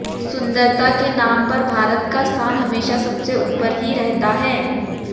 सुन्दरता के नाम पर भारत का स्थान हमेशा सबसे ऊपर ही रहता हैं